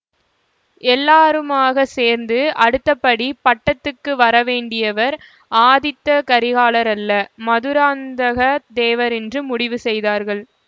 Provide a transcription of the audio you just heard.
எல்லாருமாகச் சேர்ந்து அடுத்தபடி பட்டத்துக்கு வரவேண்டியவர் ஆதித்த கரிகாலர் அல்ல மதுராந்தக தேவர் என்று முடிவு செய்தார்கள்